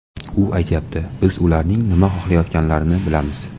U aytyapti: biz ularning nima xohlayotganlarini bilamiz.